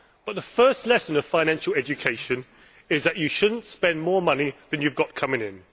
But the first lesson of financial education is that you should not spend more money than you have coming in.